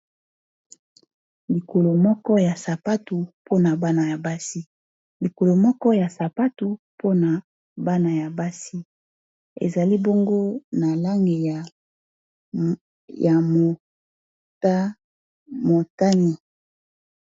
likolo moko ya sapatu mpona bana ya basi ezali bongo na langi ya motani